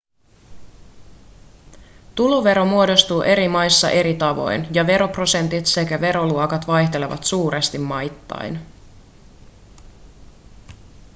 tulovero muodostuu eri maissa eri tavoin ja veroprosentit sekä veroluokat vaihtelevat suuresti maittain